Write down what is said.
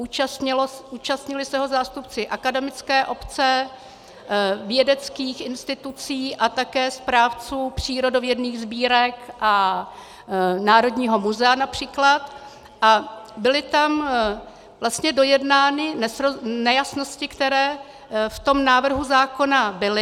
Účastnili se ho zástupci akademické obce, vědeckých institucí a také správců přírodovědných sbírek a Národního muzea například a byly tam vlastně dojednány nejasnosti, které v tom návrhu zákona byly.